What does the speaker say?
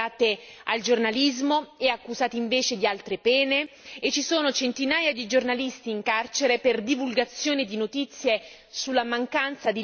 ci sono centinaia di giornalisti in carcere per divulgazione di notizie sulla mancanza di libertà della minoranza turca curda in Turchia.